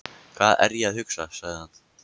Hvað er ég að hugsa? sagði hann.